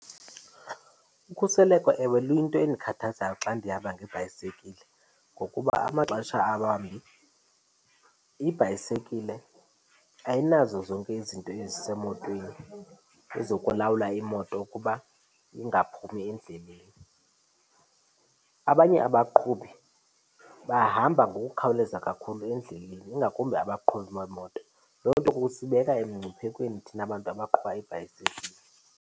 Ukhuseleko ewe luyinto endikhathazayo xa ndihamba ngebhayisekile, ngokuba amaxesha awambi ibhayisekile ayinazo zonke izinto ezisemotweni ezokulawula imoto ukuba ingaphumi endleleni. Abanye abaqhubi bahamba ngokukhawuleza kakhulu endleleni, ingakumbi abaqhubi beemoto. Loo nto kusibeka emngciphekweni thina bantu abaqhuba iibhayisekile.